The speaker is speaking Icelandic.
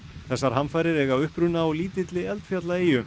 þessar hamfarir eiga uppruna á lítilli eldfjallaeyju